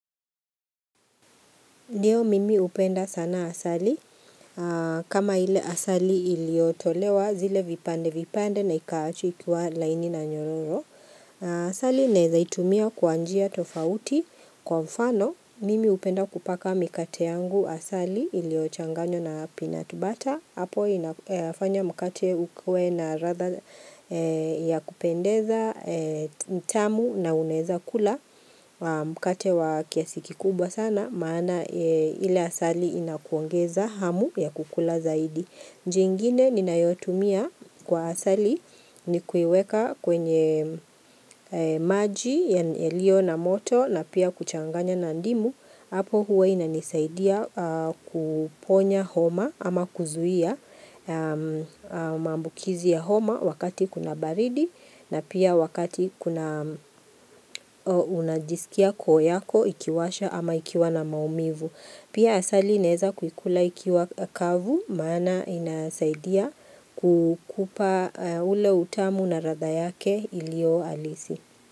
Ndio mimi hupenda sana asali. Kama ile asali iliyotolewa zile vipande vipande na ikaachwa ikiwa laini na nyororo. Asali naeza itumia kwa njia tofauti. Kwa mfano, mimi hupenda kupaka mikate yangu asali iliyochanganywa na peanut butter. Hapo inafanya mkate ukuwe na ladha ya kupendeza, ni tamu na unaeza kula mkate wa kiasi kikubwa sana maana ile asali inakuongeza hamu ya kukula zaidi. Njia ingine ninayotumia kwa asali ni kuiweka kwenye maji yaliyo na moto na pia kuchanganya na ndimu. Hapo huwa inanisaidia kuponya homa ama kuzuia maambukizi ya homa wakati kuna baridi na pia wakati kuna unajisikia koo yako ikiwasha ama ikiwa na maumivu. Pia asali naeza kukula ikiwa kavu maana inasaidia kukupa ule utamu na ladha yake iliyo halisi.